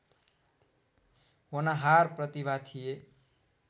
होनहार प्रतिभा थिए